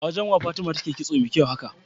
awajan wa fatima take kitso me kyau haka?